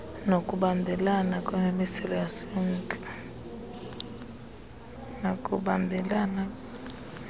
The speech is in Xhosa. nokubambelela kwimimiselo yasemntla